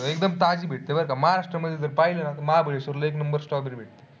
एकदम ताजे भेटत बरं का महाराष्ट्र मध्ये जर पाहिले ना महाबळेश्वरला एक number strawberry भेटते.